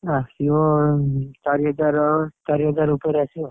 ଆସିବ ଚାରି ହଜାର ଚାରି ହଜାର ଉପରେ ଆସିବ ଆଉ